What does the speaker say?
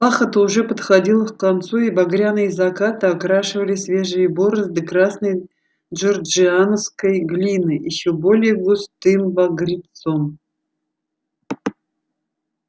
пахота уже подходила к концу и багряные закаты окрашивали свежие борозды красной джорджианской глиной ещё более густым багрецом